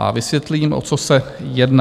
A vysvětlím, o co se jedná.